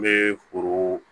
N bɛ foro